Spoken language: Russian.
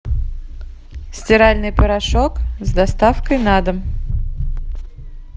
стиральный порошок с доставкой на дом